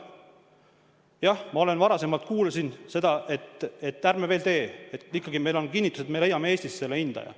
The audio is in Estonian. Jah, ma olen varasemalt kuulnud seda, et ärme veel tee, et meil siiski on kinnitus, et me leiame Eestis selle hindaja.